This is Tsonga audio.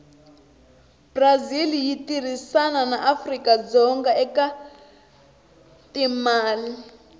brazil yitirhisana naafrikadzonga ekatimale